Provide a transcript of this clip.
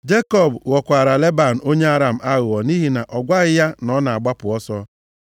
Jekọb ghọkwara Leban onye Aram aghụghọ nʼihi na ọ gwaghị ya na ọ na-agbapụ ọsọ.